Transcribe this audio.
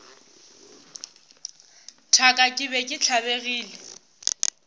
thaka ke be ke tlabegile